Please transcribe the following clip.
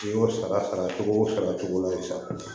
N'i y'o sara cogo o sa cogo dɔ la sa